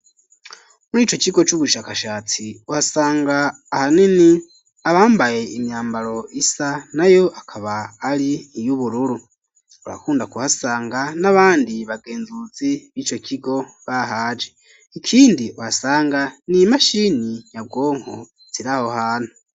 Muri ico kigo c'ubushakashatsi ,uhasanga ahanini abambaye imyambaro isa ,na yo akaba ari iy'ubururu, urakunda kuhasanga n'abandi bagenzuzi b'ico kigo bahaje ,ikindi uhasanga ni imashini nyabwonko ziriho hano.